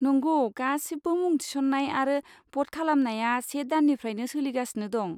नंगौ, गासिबो मुं थिसन्नाय आरो भ'ट खालामनाया से दाननिफ्रायनो सोलिगासिनो दं।